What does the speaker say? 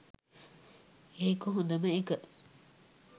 ඒක ‍හොඳම එක